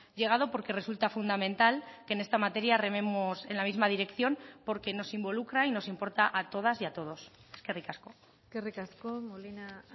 llegado porque resulta fundamental que en esta materia rememos en la misma dirección porque nos involucra y nos importa a todas y a todos eskerrik asko eskerrik asko molina